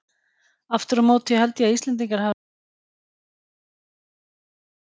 Aftur á móti held ég að Íslendingar hafi orðið fyrir miklu áfalli í móðuharðindunum.